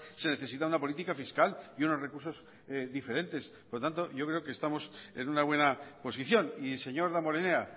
se necesita una política fiscal y unos recursos diferentes por tanto yo creo que estamos en una buena posición y señor damborenea